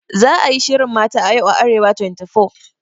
Za a yi shirin Mata a Yau a Arewa24.